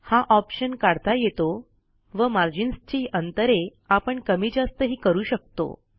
हा ऑप्शन काढता येतो व मार्जिन्सची अंतरे आपण कमी जास्तही करू शकतो